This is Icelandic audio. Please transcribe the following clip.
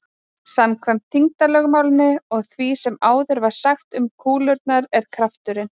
samkvæmt þyngdarlögmálinu og því sem áður var sagt um kúlurnar er krafturinn